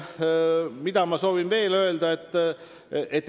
Mida ma veel öelda soovin?